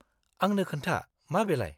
आंनो खोन्था, मा बेलाय?